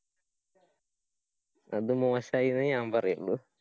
അത് മോശായിന്നെ ഞാന്‍ പറയുള്ളൂ.